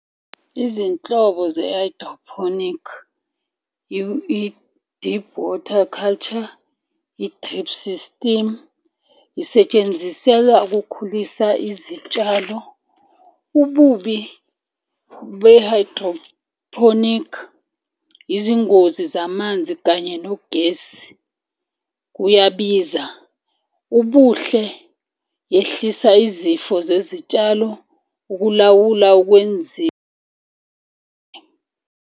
Izinhlobo ze-hydroponic i-deep water culture, i-drip system, isetshenziselwa ukukhulisa izitshalo. Ububi be-hydrophonic izingozi zamanzi kanye nogesi kuyabiza. Ubuhle yehlisa izifo zezitshalo ukulawula .